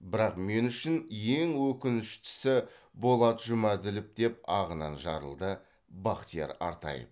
бірақ мен үшін ең өкінішітісі болат жұмәділов деп ағынан жарылды бахтияр артаев